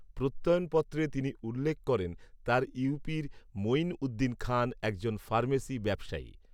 প্রত্যয়নপত্রে তিনি উল্লেখ করেন, তার ইউপির মঈন উদ্দিন খান একজন ফার্মেসি ব্যবসায়ী